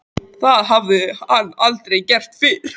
Það hafði hann aldrei gert fyrr.